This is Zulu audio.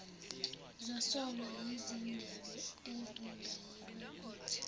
zasolwa yizindebe ezingayilokothi